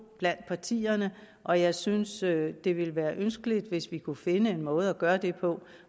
blandt partierne og jeg synes at det ville være ønskeligt hvis vi kunne finde en måde at gøre det på